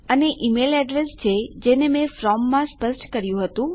અને આપણી પાસે ઈમેલ એડ્રેસ છે જેને મેં ફ્રોમ માં સ્પષ્ટ કર્યું હતું